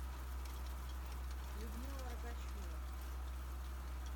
людмила рогачева